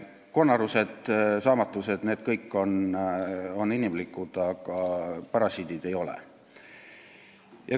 Konarused ja saamatused – need kõik on inimlikud, aga parasiidid ei ole.